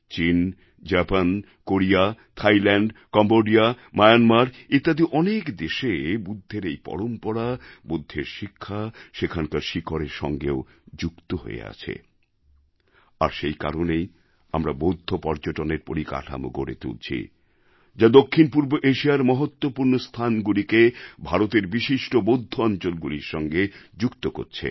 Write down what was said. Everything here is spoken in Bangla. চিন Japan Korea Thailand Cambodia Myanmar ইত্যাদি এশিয়ার অনেক দেশে বুদ্ধের এই পরম্পরা বুদ্ধের শিক্ষা সেখানকার শিকড়ের সঙ্গেও যুক্ত হয়ে আছে আর সেই কারণেই আমরা বৌদ্ধ পর্যটনের পরিকাঠামো গড়ে তুলছি যা দক্ষিণপূর্ব এশিয়ার মহত্ত্বপূর্ণ স্থানগুলিকে ভারতের বিশিষ্ট বৌদ্ধ অঞ্চলগুলির সঙ্গে যুক্ত করছে